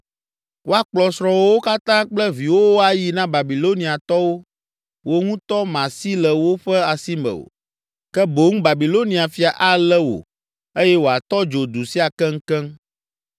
“Woakplɔ srɔ̃wòwo katã kple viwòwo ayi na Babiloniatɔwo, wò ŋutɔ màsi le wo ƒe asi me o, ke boŋ Babilonia fia alé wò eye wòatɔ dzo du sia keŋkeŋ.”